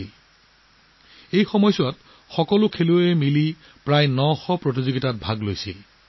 যদি সকলো খেলুৱৈ একেলগ হয় তেন্তে সকলো মিলি ৯০০ন শ খেুলৱৈয়ে আন্তঃৰাষ্ট্ৰীয় প্ৰতিযোগিতাত অংশগ্ৰহণ কৰিব